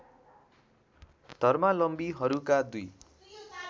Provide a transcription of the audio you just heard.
धर्मावलम्बीहरूका दुई